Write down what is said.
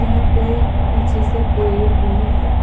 यहां पे पीछे से पेड़ भी है।